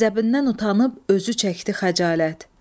Qəzəbindən utanıp özü çəkdi xəcalət.